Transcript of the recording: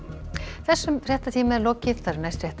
þessum fréttatíma er lokið næstu fréttir